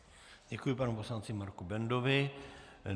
Děkuji panu poslanci Marku Bendovi.